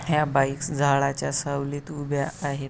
ह्या बाईक्स झाडाच्या सावलीत उभ्या आहेत.